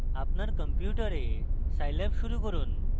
আপনার কম্পিউটারে scilab শুরু করুন